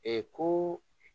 ko